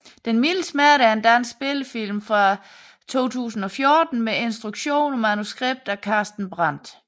Den milde smerte er en dansk spillefilm fra 2014 med instruktion og manuskript af Carsten Brandt